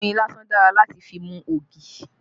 Oyin lásán dára láti fi mú ogi